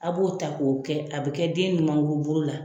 A b'o ta k'o kɛ a bɛ kɛ den ɲumanguru bolo la.